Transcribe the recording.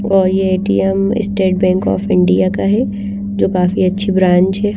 और ये ATM State Bank of India का हैं जो काफी अच्छी ब्रांच हैं।